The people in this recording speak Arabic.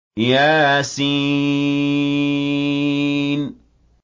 يس